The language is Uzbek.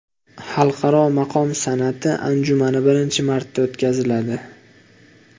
Xalqaro maqom san’ati anjumani birinchi marta o‘tkaziladi.